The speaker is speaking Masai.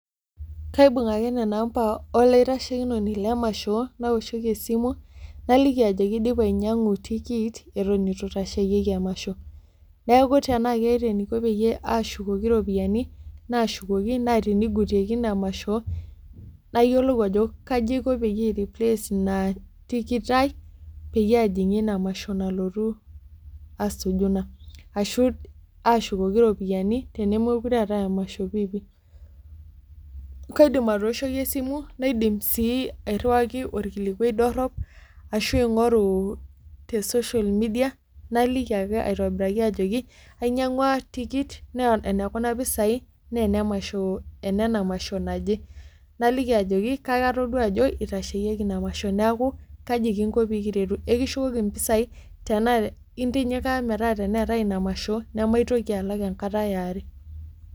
Kaibung ake nena ampa olaitashekinoni lemasho naoshoki esimu naliki ajoki aidipa ainyiang'u tikit eton itu itasheyieki emasho neeku tenaa keeta eniko peyie ashukoki iropiyiani nashukoki naa tinigutieki ina masho nayiolou ajo kaji iko peyie ae replace ina tikit ai peyie ajing'ie ina masho nalotu asuju ina ashu ashukoki iropiyiani tenemokure eetae emasho piipi kaidim atooshoki esimu naidim sii airriwaki orkilikuai dorrop ashu aing'oru te social media naliki ake aitobiraki ajoki ainyiang'ua tikit naa enekuna pisai naa enemasho enena masho naje naliki ajoki kake atodua ajo itasheyieki ina masho neeku kaji kinko pekiretu ekishukoki impisai tenaa intinyikaa metaa teneetae ina masho nemaitoki alak enkata eare.